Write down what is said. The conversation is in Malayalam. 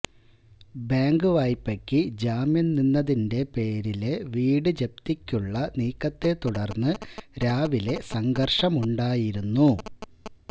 ബാങ്ക് വായ്പയ്ക്ക് ജാമ്യം നിന്നതിന്റെ പേരില് വീട് ജപ്തിയ്ക്കുള്ള നീക്കത്തെ തുടർന്ന് രാവിലെ സംഘര്ഷമുണ്ടായിരുന്നു